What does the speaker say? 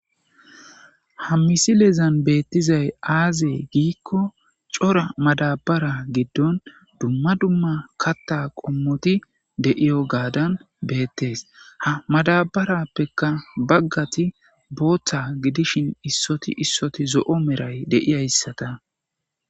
Ha misileza betizayis aze giiko coora madabara gidon duma duma katha qomoti de'ewugadan betes ha madabarapeka bagati gutha gidishin issoti issoti zo'o milatesata